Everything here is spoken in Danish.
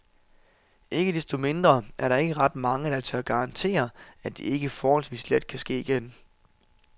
Ikke desto mindre er der ikke ret mange, der tør garantere, at det ikke forholdsvis let kan ske igen.